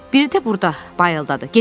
Biri də burda, Bayıldadır.